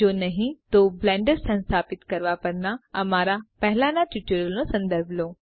જો નહિં તો બ્લેન્ડર સંસ્થાપિત કરવા પરના અમારા પહેલાંના ટ્યુટોરિયલ્સનો સંદર્ભ લો